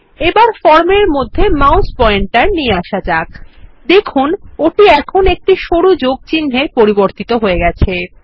এবার ফর্ম এর মধ্যে মাউস পয়েন্টার নিয়ে আসা যাক দেখুন ওটি এখন একটা সরু যোগ চিহ্ন -এ পরিবর্তিত হয়ে গেছে